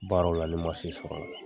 Baara la ni ma se sɔrɔ o la .